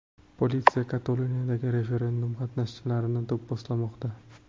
Politsiya Kataloniyadagi referendum qatnashchilarini do‘pposlamoqda.